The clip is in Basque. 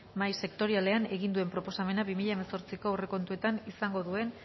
mahai sektorialean egin duen proposamenak bi mila hemezortziko aurrekontuetan izango duen